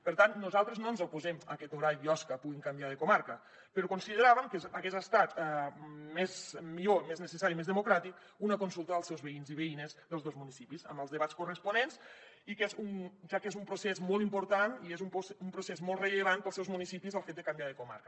per tant nosaltres no ens oposem a que torà i biosca puguin canviar de comarca però consideràvem que hagués estat millor més necessari i més democràtic fer una consulta als veïns i veïnes dels dos municipis amb els debats corresponents ja que és un procés molt important i és un procés molt rellevant per als seus municipis el fet de canviar de comarca